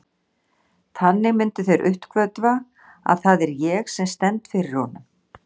Þannig myndu þeir uppgötva, að það er ég sem stend fyrir honum.